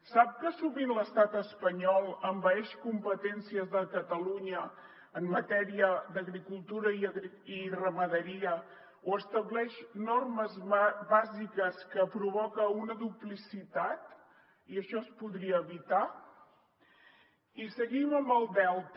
sap que sovint l’estat espanyol envaeix competències de catalunya en matèria d’agricultura i ramaderia o estableix normes bàsiques que provoquen una duplicitat i això es podria evitar i seguim amb el delta